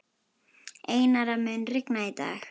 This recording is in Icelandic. Einara, mun rigna í dag?